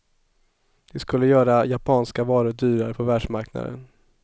Det skulle göra japanska varor dyrare på världsmarknaden.